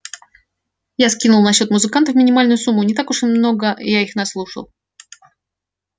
я скинул на счёт музыкантов минимальную сумму не так уж и на много я их наслушал